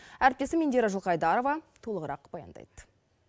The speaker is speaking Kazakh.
әріптесім индира жылқайдарова толығырақ баяндайды